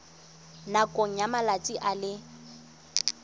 nakong ya malatsi a le